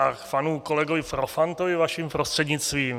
K panu kolegovi Profantovi vaším prostřednictvím.